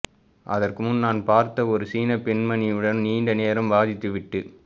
அதற்குமுன் நான் பார்த்த ஒரு சீனப் பெண்மணியுடன் நீண்ட நேரம் வாதித்துவிட்டு